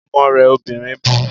Ọmọ rẹ obìnrin bu